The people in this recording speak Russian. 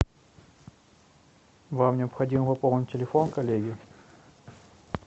вам необходимо пополнить телефон коллеге